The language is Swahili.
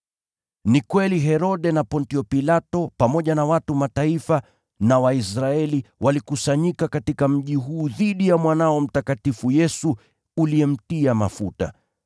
Ni kweli Herode na Pontio Pilato pamoja na watu wa Mataifa na Waisraeli, walikusanyika katika mji huu dhidi ya mwanao mtakatifu Yesu uliyemtia mafuta.